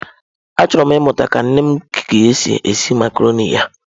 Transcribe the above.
Achọrọ m ịmụta ka nne gị si esi macarọnị ya.